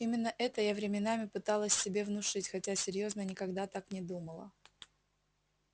именно это я временами пыталась себе внушить хотя серьёзно никогда так не думала